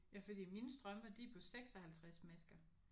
Ja fordi mine strømper de er på 56 masker